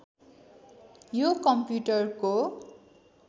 यो कम्प्युटरको